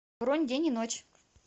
бронь день и ночь